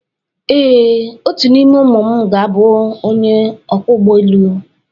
Ee, otu n’ime ụmụ m ga-abụ onye ọkwọ ụgbọelu